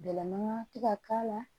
Bɛlɛman ti ka k'a la